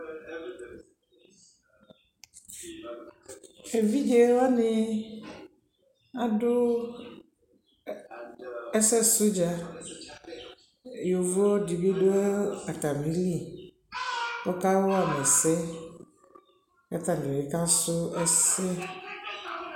ɛvidzɛ wani adʋ ɛsɛ sʋ dza, yɔvɔ dibi dʋ atamili kʋ ɔka wama ɛsɛ kʋatabi ka srɔ ɛsɛ